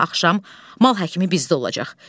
Sabah axşam mal həkimi bizdə olacaq.